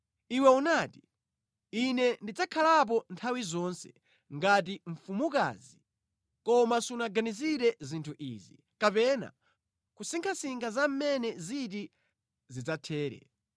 Iwe unati, ‘Ine ndidzakhalapo nthawi zonse ngati mfumukazi.’ Koma sunaganizire zinthu izi kapena kusinkhasinkha za mmene ziti zidzathere.